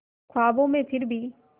ख्वाबों में फिर भी